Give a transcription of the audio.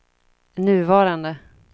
nuvarande